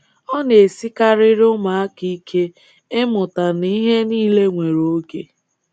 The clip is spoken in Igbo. Ọ na-esikarịrị ụmụaka ike ịmụta na ihe nile nwere oge.